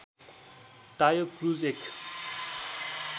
टायो क्रुज एक